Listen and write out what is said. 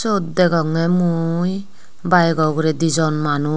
syot degongey mui baigo ugrey dijon manus.